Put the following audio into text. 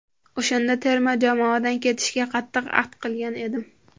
O‘shanda terma jamoadan ketishga qattiq ahd qilgan edim.